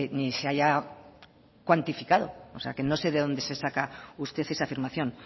ni se haya cuantificado o sea que no sé de dónde se saca usted esa afirmación